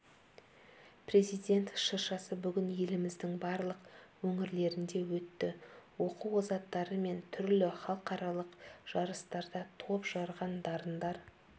президент шыршасы бүгін еліміздің барлық өңірлерінде өтті оқу озаттары мен түрлі халықаралық жарыстарда топ жарған дарындар